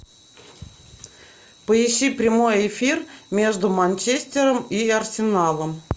поищи прямой эфир между манчестером и арсеналом